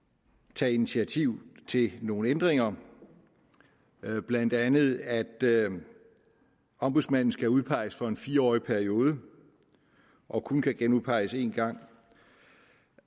tager initiativ til nogle ændringer blandt andet at ombudsmanden skal udpeges for en fire årig periode og kun kan genudpeges én gang